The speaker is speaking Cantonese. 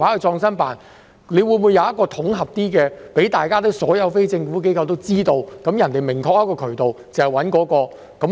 是否有統合的做法，讓所有非政府機構都知道有一個明確的渠道，知道要找誰？